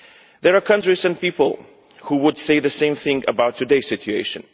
There are countries and people who would say the same thing about today's situation.